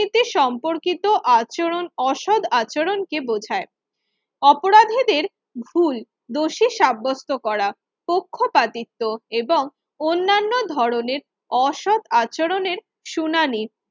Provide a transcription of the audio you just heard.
এর সম্পর্কিত আচরণ অসৎ আচরণকে অপরাধীদেরবোমায় ভুল দোষী সাব্যস্ত করা পক্ষপাতিত্ব এবং অন্যান্য ধরনের অসৎ আচরণের শুনানি বা